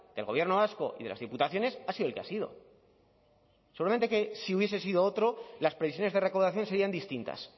del gobierno vasco y de las diputaciones ha sido el que ha sido seguramente que si hubiese sido otro las previsiones de recaudación serían distintas